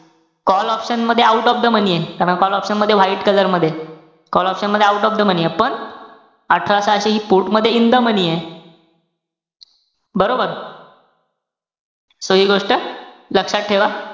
Call option मध्ये out of the money ए. karan call option मध्ये white color मध्ये, call option मध्ये out of the money ए. पण अठरा सहाशे हि put मध्ये in the money ए. बरोबर? so हि गोष्ट लक्षात ठेवा.